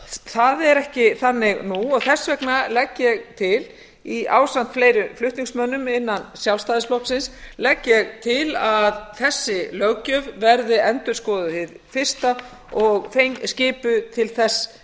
það er ekki þannig nú og þess vegna legg ég til ásamt fleiri flutningsmönnum innan sjálfstæðisflokksins að þessi löggjöf verði endurskoðuð hið fyrsta og skipuð til þess